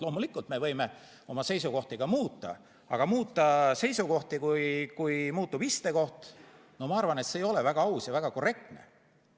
Loomulikult me võime oma seisukohti ka muuta, aga muuta seisukohti, kui muutub istekoht – no ma arvan, et see ei ole väga aus ja väga korrektne.